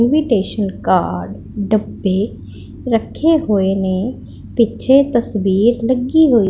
invitation card ਡੱਬੇ ਰੱਖੇ ਹੋਏ ਨੇ ਪਿੱਛੇ ਤਸਵੀਰ ਲੱਗੀ ਹੋਈ --